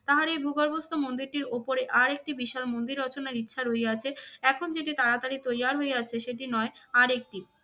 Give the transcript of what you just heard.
তাহার এই ভূগর্ভস্থ মন্দিরটির ওপরে আরেকটি বিশাল মন্দির রচনার ইচ্ছা রইয়াছে। এখন যেটি তাড়াতাড়ি তৈয়ার হইয়াছে সেটি নয়, আর একটি।